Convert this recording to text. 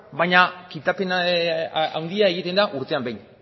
baina kitapen handia egiten da urtean behin